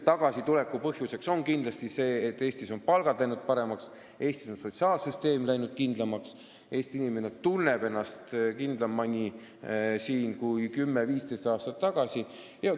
Tagasituleku põhjuseks on kindlasti see, et Eestis on palgad läinud paremaks, sotsiaalsüsteem on läinud kindlamaks ja Eesti inimene tunneb ennast siin kindlamini kui 10–15 aastat tagasi.